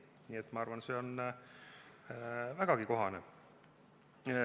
Nii et ma arvan, et see on vägagi kohane.